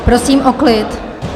Prosím o klid!